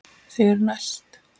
Þau eru næst.